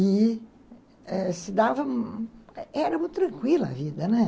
E se dava... Era muito tranquila a vida, né?